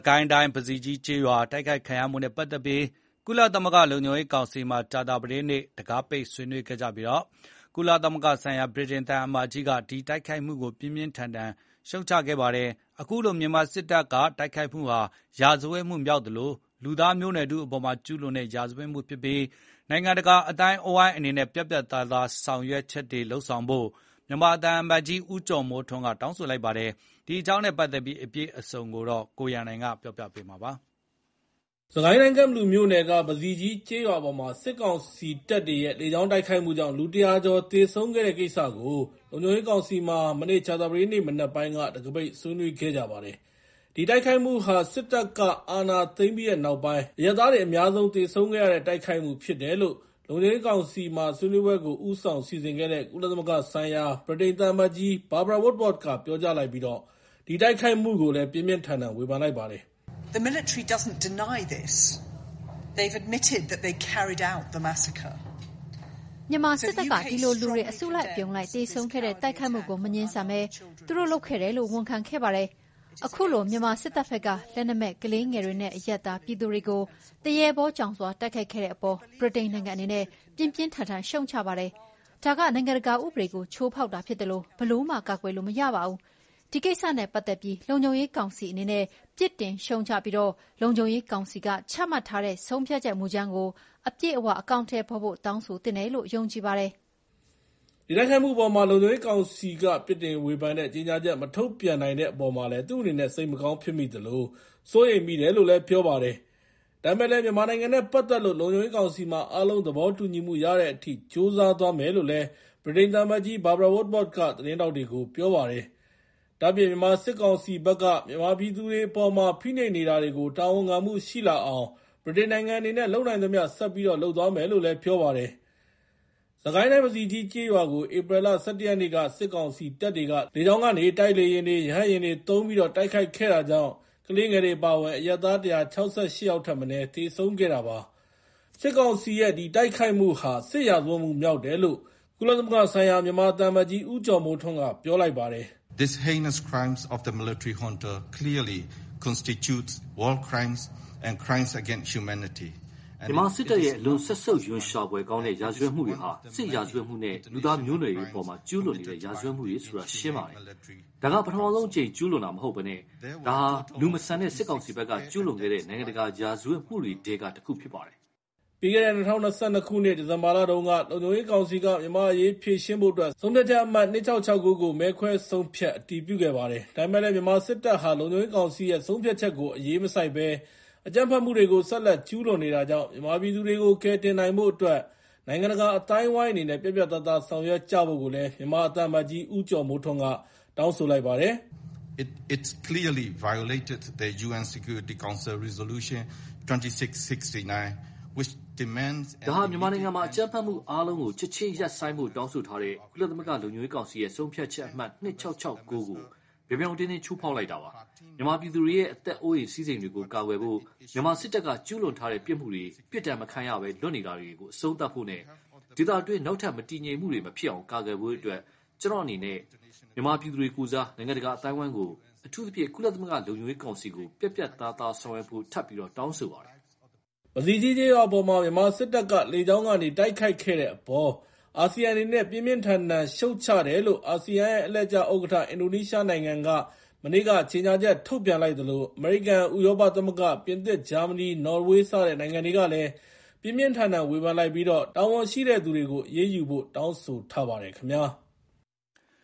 ကိုင်းတိုင်း ပဇီကြီးကျေးရွာ တိုက်ခိုက်ခံရမှုနဲ့ ပတ်သက်ပြီး ကုလသမဂ္ဂလုံခြုံရေးကောင်စီမှာ ကြာသပတေးနေ့က တံခါးပိတ် ဆွေးနွေးခဲ့ကြပြီး၊ ကုလသမဂ္ဂဆိုင်ရာ ဗြိတိန်သံအမတ်ကြီးက ဒီတိုက်ခိုက်မှုကို ပြင်းပြင်းထန်ထန် ပြစ်တင်ရှုတ်ချလိုက်ပါတယ်။ အခုလို မြန်မာစစ်တပ်ရဲက တိုက်ခိုက်မှုဟာ စစ်ရာဇတ်မှုမြောက်သလို၊ လူသားမျိုးနွယ်ထုအပေါ်မှာ ကျူးလွန်တဲ့ ရာဇဝတ်မှုဖြစ်ပြီး၊ နိုင်ငံတကာ အသိုင်းအဝိုင်းအနေနဲ့ ပြတ်သားတဲ့ဆောင်ရွက်ချက်တွေ လုပ်ဆောင်ကြဖို့ မြန်မာသံအမတ်ကြီး ဦးကျော်မိုးထွန်းက တောင်းဆိုလိုက်ပါတယ်။ ဒီအကြောင်းနဲ့ ပတ်သက်ပြီး အပြည့်အစုံကို ကိုရန်နိုင်က ပြောပြပေးမှာဖြစ်ပါတယ်။ စစ်ကိုင်းတိုင်း ကန့်ဘလူမြို့နယ်က ပဇီကြီးကျေးရွာအပေါ် စစ်ကောင်စီတပ်တွေရဲ့လေကြောင်းတိုက်ခိုက်မှုကြောင့် လူ ၁၀၀ ကျော် သေဆုံးခဲ့တဲ့ကိစ္စကို လုံခြုံရေးကောင်စီမှာ ကြာသပတေးနေ့ မနက်ပိုင်းက တံခါးပိတ်ဆွေးနွေးပါတယ်။ ဒီတိုက်ခိုက်မှုဟာ စစ်တပ်က အာဏာသိမ်းပြီးနောက်ပိုင်း အရပ်သားတွေ အများဆုံးသေဆုံးခဲ့ရတဲ့ တိုက်ခိုက်မှုဖြစ်တယ်လို့ လုံခြုံရေးကောင်စီမှာ ဆွေးနွေးပွဲကို ဦးဆောင်စီစဉ်ခဲ့တဲ့ ကုလသမဂ္ဂဆိုင်ရာ ဗြိတိန်သံအမတ်ကြီး Barbara Woodward ပြောကြားလိုက်ပြီး ဒီတိုက်ခိုက်မှုကို ပြင်းပြင်းထန်ထန် ဝေဖန်လိုက်ပါတယ်။ " မြန်မာစစ်တပ်က ဒီလိုလူတွေ အစုအလိုက်အပြုံလိုက်သေဆုံးခဲ့တဲ့ တိုက်ခိုက်မှုကို မငြင်းဆန်ပဲ၊ သူတို့လုပ်ခဲ့တယ်လို့ ဝန်ခံခဲ့ပါတယ်။ အခုလို မြန်မာစစ်တပ်ဘက်က လက်နက်မဲ့ ကလေးငယ်တွေနဲ့ အရပ်သားပြည်သူတွေနဲ့ သရဲဘောကြောင်စွာ တိုက်ခိုက်ခဲ့တဲ့အပေါ် ဗြိတိန်နိုင်ငံအနေ နဲ့ ပြင်းပြင်းထန်ထန် ရှုတ်ချပါတယ်။ ဒါက နိုင်ငံတကာဥပဒေကို ချိုးဖောက်တာဖြစ်သလို၊ ဘယ်လိုမှ ကာကွယ်လို့မရပါဘူး။ ဒီကိစ္စနဲ့ ပတ်သက်ပြီး လုံခြုံရေးကောင်စီ အနေနဲ့ ပြစ်တင်ရှုတ်ချပြီး၊ လုံခြုံရေးကောင်စီက ချမှတ်ထားတဲ့ ဆုံးဖြတ်ချက်မူကြမ်းကိုအပြည့်အ၀ အကောင်အထည်ဖော်ဖို့တောင်းဆိုသင့်တယ်လို့ ယုံကြည်ပါတယ်။" ဒီတိုက်ခိုက်မှုအပေါ် လုံခြုံရေးကောင်စီက ပြစ်တင်ဝေဖန်တဲ့ ကြေညာချက် မထုတ်ပြန်နိုင်တဲ့အပေါ် သူ့အနေနဲ့ စိတ်မကောင်းဖြစ်မိသလို၊ စိုးရိမ်မိတယ်လို့လည်း ပြောပါတယ်။ ဒါပေမဲ့လည်း မြန်မာနိုင်ငံနဲ့ပါတ်သက်လို့ လုံခြုံရေးကောင်စီမှာ အားလုံး သဘောတူညီမှု ရတဲ့အထိ ကြိုးစားသွားမယ်လို့လည်း ဗြိတိန် သံအမတ်ကြီး Barbara Woodward က သတင်းထောက်တွေကို ပြောကြားခဲ့ပါတယ်။ ဒါ့အပြင် ြ မန်မာစစ်ကောင်စီဘက်က ပြည်သူတွေအပေါ်မှာ ဖိနှိပ်နေတာတွေကို တာဝန်ခံမှုရှိလာအောင် ဗြိတိန်နိုင်ငံအနေနဲ့ လုပ်နိုင်သမျှဆက်ပြီးတော့ လုပ်သွားမယ်လို့ ပြောပါတယ်။ စစ်ကိုင်းတိုင်း ပဇီကြီးကျေးရွာကို ပြီးခဲ့တဲ့ ဧပြီလ ၁၁ ရက်နေ့က စစ်ကောင်စီတပ်တွေက လေကြောင်းကနေ တိုက်လေယာဉ်တွေ ရဟတ်ယာဉ်တွေသုံးပြီး တိုက်ခိုက်ခဲ့တာကြောင့် ကလေးငယ်တွေအပါအဝင် အရပ်သား ၁၆၈ ယောက်ထက်မနည်း သေဆုံးခဲ့တာပါ။ စစ်ကောင်စီရဲ့ တိုက်ခိုက်မှုဟာ စစ်ရာဇဝတ်မှု မြောက်တယ်လို့ ကုလသမဂ္ဂဆိုင်ရာ မြန်မာသံအမတ်ကြီး ဦးကျော်မိုးထွန်းက ပြောလိုက်ပါတယ်။ " မြန်မာစစ်တပ်ရဲ့ အလွန်စက်ဆုပ်ရွံရှာဖွယ်ကောင်းတဲ့ ရာဇဝတ်မှုတွေဟာ စစ်ရာဇဝတ်မှု နဲ့ လူသားမျိုးနွယ်တွေအပေါ်မှာကျူးလွန်နေတဲ့ ရာဇဝတ်မှုတွေဆိုတာ ရှင်းပါတယ်။ ဒါက ပထမဆုံးအကြိမ် ကျူးလွန်တာမဟုတ်ဘဲ၊ ဒါဟာ လူမဆန်တဲ့စစ်ကောင်စီဘက်က ကျူးလွန်ခဲ့တဲ့ နိုင်ငံတကာရာဇဝတ်မှုတွေထဲက တခုဖြစ်ပါတယ်။ " ပြီးခဲ့တဲ့ ၂၀၂၂ ဒီဇင်ဘာလတုန်းက လုံခြုံရေးကောင်စီက မြန်မာ့အရေးဖြေရှင်းဖို့အတွက် ဆုံးဖြတ်ချက်အမှတ် ၂၆၆၉ ကို မဲခွဲဆုံးဖြတ် အတည်ပြုခဲ့ပါတယ်။ ဒါပေမဲ့လည်း မြန်မာစစ်တပ်ဟာ လုံခြုံရေးကောင်စီရဲ့ ဆုံးဖြတ်ချက်ကို အရေးမစိုက်ဘဲ အကြမ်းဖက်မှုတွေ ဆက်လက်ကျူးလွန်နေတာကြောင့် မြန်မာပြည်သူတွေကို ကယ်တင်နိုင်ဖို့အတွက် နိုင်ငံတကာအသိုင်းအဝိုင်းအနေနဲ့ ပြတ်ပြတ်သားသား ဆောင်ရွက်ကြဖို့ မြန်မာသံအမတ်ကြီး ဦးကျော်မိုးထွန်းက တောင်းဆိုလိုက်ပါတယ်။ " ဒါဟာ မြန်မာနိုင်ငံမှာ အကြမ်းဖက်မှုအားလုံးကို ချက်ချင်းရပ်ဆိုင်းဖို့တောင်းဆိုထားတဲ့ ကုလသမဂ္ဂလုံခြုံရေးကောင်စီရဲ့ ဆုံးဖြတ်ချက် ၂၆၆၉ ကို ပြောင်ပြောင်တင်းတင်းချိုးဖောက်လိုက်တာပါ။ မြန်မာပြည်သူတွေရဲ့ အသက်အိုးအိမ်စည်းစိမ်တွေကို ကာကွယ်ဖို့၊ မြန်မာစစ်တပ်က ကျူးလွန်ထားတဲ့ပြစ်မှုတွေ ပြစ်ဒဏ်မခံရဘဲ ကင်းလွတ်နေတာတွေ အဆုံးသတ်ဖို့ နဲ့ ဒေသတွင်းမှာ နောက်ထပ် မတည်ငြိမ်မှုတွေ မဖြစ်အောင် ကာကွယ်ဖို့အတွက်၊ ကျနော်အနေနဲ့ မြန်မာပြည်သူတွေကိုယ်စား နိုင်ငံတကာအသိုင်းအဝိုင်းကို၊ အထူးသဖြင့် ကုလသမဂ္ဂလုံခြုံရေး ကောင်စီကို ပြတ်ပြတ်သားသား ဆောင်ရွက်ဖို့ ထပ်ပြီးတော့ တောင်းဆိုပါတယ်။ " ပဇီကြီးကျေးရွာအပေါ် မြန်မာစစ်တပ်က လေကြောင်းကနေ တိုက်ခိုက်ခဲ့တဲ့အပေါ် အာဆီယံအနေနဲ့ ပြင်းပြင်းထန်ထန်ရှုတ်ချတယ်လို့ အာဆီယံရဲ့ အလှည့်ကျ ဥက္ကဋ္ဌ အင်ဒိုနီးရှားနိုင်ငံကလည်း ကြေညာချက်ထုတ်ပြန်လိုက်သလို၊ အမေရိကန်၊ ဥရောပသမဂ္ဂ၊ ပြင်သစ်၊ ဂျာမနီ၊ နော်ဝေးစတဲ့ နိုင်ငံတွေကလည်း ပြင်းပြင်းထန်ထန်ဝေဖန်လိုက်ပြီး တာဝန်ရှိတဲ့သူတွေကို အရေးယူဖို့ တောင်းဆိုထားပါတယ်ခင်ဗျာ။